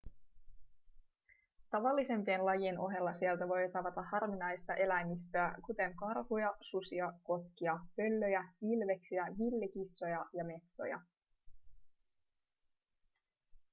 tavallisempien lajien ohella sieltä voi tavata harvinaista eläimistöä kuten karhuja susia kotkia pöllöjä ilveksiä villikissoja ja metsoja